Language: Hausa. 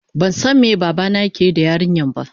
bansan me babana yakeyi da yarinyar ba.